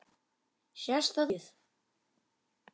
Sést þetta mikið?